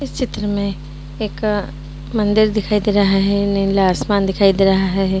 इस चित्र में एक अ मंदिर दिखाई दे रहा है | नीला आसमान दिखाई दे रहा है ।